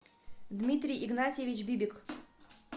дмитрий игнатьевич бибик